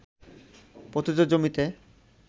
পতিত জমিতে